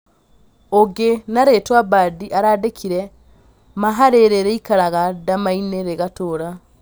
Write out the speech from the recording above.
Ũngĩ na rĩtwa Mbadi arandĩkire : ma harirĩ rĩikaraga ndamainĩ rĩgatũra